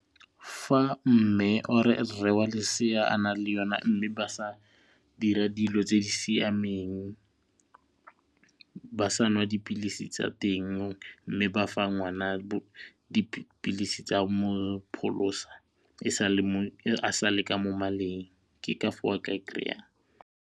Fa mme or rre wa lesea a na le yone mme ba sa dira dilo tse di siameng, ba sa nwa dipilisi tsa ya teng mme ba fa ngwana dipilisi tsa a sale ka mo maleng ke ka foo a ka e kry-ang.